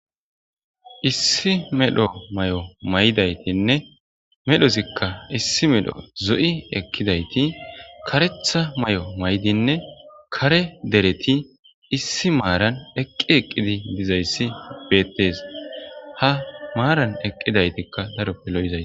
Issi medho may'o maydaytinne medhozikka issi melho zo'i ekkidayti karetha may'o maydinne kare dereti issi maaran eqqi eqqidi dizayssi beettes ha maaran eqqidaytikka daroppe lo'izay.